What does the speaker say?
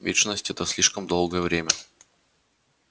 вечность это слишком долгое время